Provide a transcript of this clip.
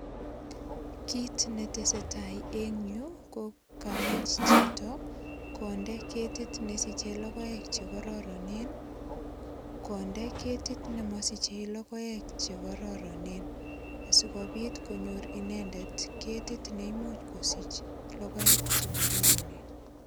Kit netesetai eng yu ko kamach chito kondeet ketit nesiche kokoek chekororonen ,kondeet ketit nemasiche lokoek chekororonen asikobit konyor inendet ketit neimuch kosich lokoek chekororonen.